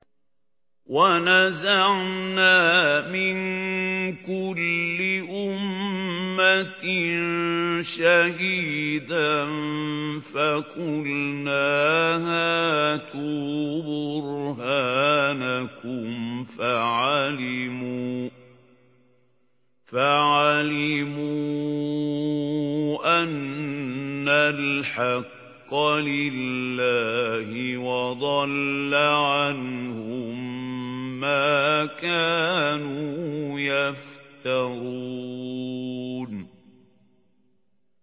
وَنَزَعْنَا مِن كُلِّ أُمَّةٍ شَهِيدًا فَقُلْنَا هَاتُوا بُرْهَانَكُمْ فَعَلِمُوا أَنَّ الْحَقَّ لِلَّهِ وَضَلَّ عَنْهُم مَّا كَانُوا يَفْتَرُونَ